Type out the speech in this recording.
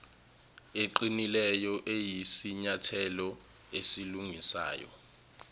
eqinileyo iyisinyathelo esilungisayo